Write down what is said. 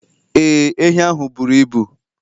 Ee, ehi ahụ buru ibu